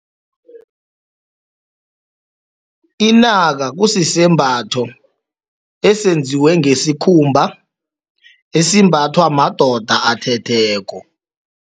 Inaka kusisembatho esenziwe ngesikhumba esimbathwa madoda athetheko.